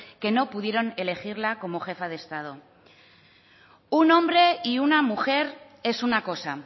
que no pudieron elegirla como jefa de estado un hombre y una mujer es una cosa